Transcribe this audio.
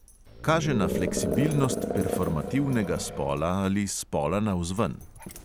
Kaže na fleksibilnost "performativnega" spola ali spola navzven.